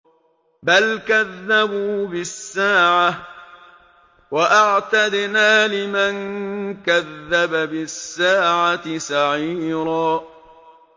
بَلْ كَذَّبُوا بِالسَّاعَةِ ۖ وَأَعْتَدْنَا لِمَن كَذَّبَ بِالسَّاعَةِ سَعِيرًا